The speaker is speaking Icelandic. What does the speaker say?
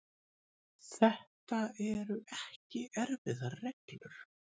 Þetta eru ekki erfiðar reglur.